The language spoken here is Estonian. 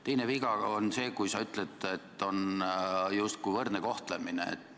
Teine viga on see, kui sa ütled, et on justkui võrdne kohtlemine.